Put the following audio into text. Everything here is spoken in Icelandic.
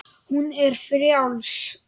Hún er frjáls.